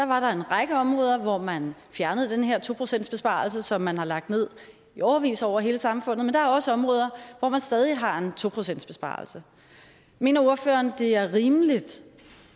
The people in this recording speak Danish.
var der en række områder hvor man fjernede den her to procentsbesparelse som man har lagt ned i årevis over hele samfundet men der er også områder hvor man stadig har en to procentsbesparelse mener ordføreren det er rimeligt